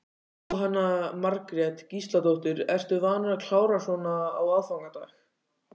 Jóhanna Margrét Gísladóttir: Ertu vanur að klára svona á aðfangadag?